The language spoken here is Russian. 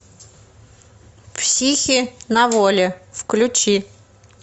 психи на воле включи